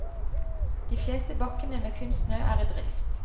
De fleste bakkene med kunstsnø er i drift.